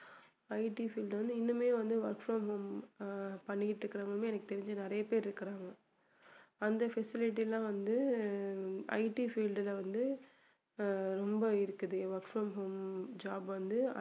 IT field ல வந்து இன்னுமே வந்து work from home ஆஹ் பண்ணிட்டு இருக்குறவங்க எனக்கு தெரிஞ்சு நிறைய பேர் இருக்குறாங்க அந்த facility லாம் வந்து அஹ் IT field ல வந்து அஹ் ரொம்ப இருக்குது work from home job வந்து